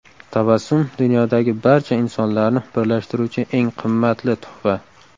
Tabassum dunyodagi barcha insonlarni birlashtiruvchi eng qimmatli tuhfa.